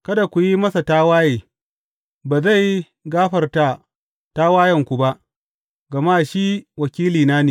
Kada ku yi masa tawaye; ba zai gafarta tawayenku ba, gama shi wakilina ne.